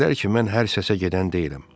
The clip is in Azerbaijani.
Bilər ki, mən hər səsə gedən deyiləm.